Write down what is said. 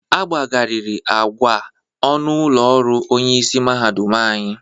Agbagarịrị agwa ọnụ ụlọ ọrụ onyeisi mahadum anyị.